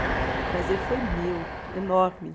O prazer foi meu, enorme.